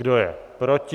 Kdo je proti?